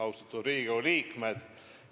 Austatud Riigikogu liikmed!